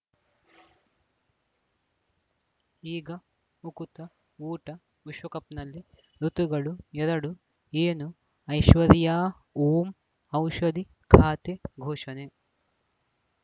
ಈಗ ಉಕುತ ಊಟ ವಿಶ್ವಕಪ್‌ನಲ್ಲಿ ಋತುಗಳು ಎರಡು ಏನು ಐಶ್ವರ್ಯಾ ಓಂ ಔಷಧಿ ಖಾತೆ ಘೋಷಣೆ